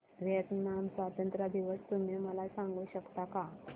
Vietnam स्वतंत्रता दिवस तुम्ही मला सांगू शकता का